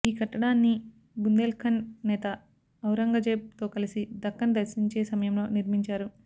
ఈ కట్టడాన్ని బుందేల్ ఖండ్ నేత ఔరంగజేబ్ తో కలసి దక్కన్ దర్శించే సమయంలో నిర్మించారు